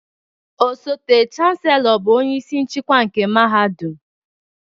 Osote Chancellor bụ onye isi nchịkwa nke mahadum